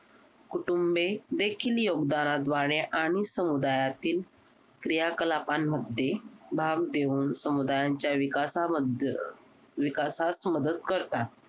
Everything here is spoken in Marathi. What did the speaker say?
कुटुंबे देखील योगदानाद्वारे आणि समुदायातील क्रियाकलापान मधे भाम देऊन समुदायांच्या विकासामद अह विकासास मदत करतात